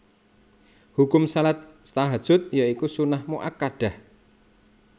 Hukum shalat Tahajjud ya iku sunnah muakkadah